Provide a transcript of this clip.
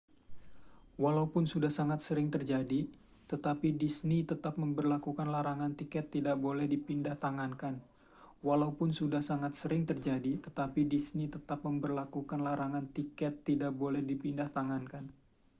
walaupun sudah sangat sering terjadi tetapi disney tetap memberlakukan larangan tiket tidak boleh dipindahtangankan